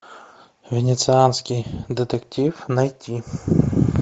венецианский детектив найти